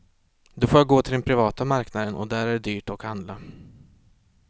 Då får jag gå till den privata marknaden och där är det dyrt och handla.